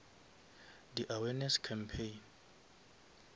di awareness campaign